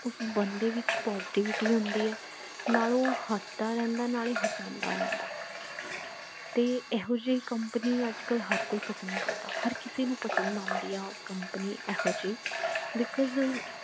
ਉਸ ਬੰਦੇ ਵਿੱਚ positivity ਹੁੰਦੀ ਹੈ ਨਾਲ ਉਹ ਹਸਦਾ ਰਹਿੰਦਾ ਹੈ ਨਾਲੇ ਹਸਾਉਂਦਾ ਰਹਿੰਦਾ ਹੈ ਤੇ ਇਹੋਜੀ company ਅਜੇ ਕਲ ਹਰ ਕੋਈ ਪਸੰਦ ਕਰਦਾ ਹਰ ਕਿਸੇ ਨੂੰ ਪਸੰਦ ਆਂਦੀ ਹੈ company ਇਹੋਜੀ because